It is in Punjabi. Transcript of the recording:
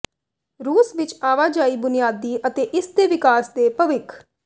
ਰੂਸ ਵਿਚ ਆਵਾਜਾਈ ਬੁਨਿਆਦੀ ਅਤੇ ਇਸ ਦੇ ਵਿਕਾਸ ਦੇ ਭਵਿੱਖ